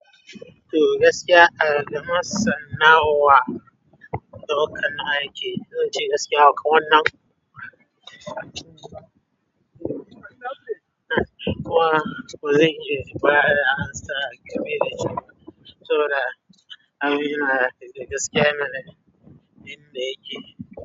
To gaskiya a gama sana'a wa, daukan aiki, don ji gaskiya haka wannan kuwa bazan iya faɗa amsa game da shi ba. Sabu da abin na gaskiya mana, inda yake.